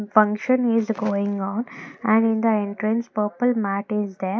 function is going on and in the entrance purple mat is there.